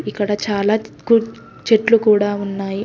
ఇక్కడ చాలా కు చెట్లు కూడా ఉన్నాయి.